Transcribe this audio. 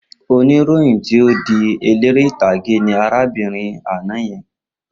Oníròyìn tí ó di eléré ìtàgé ni arábìnrin àná yẹn.